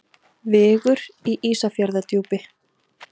Vigur í Ísafjarðardjúpi.